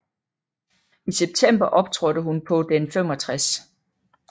I september optrådte hun på den 65